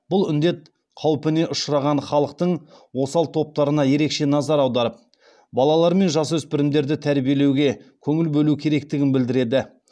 бұл індет қаупіне ұшыраған халықтың осал топтарына ерекше назар аударып балалар мен жасөспірімдерді тәрбиелеуге көңіл бөлу керектігін білдіреді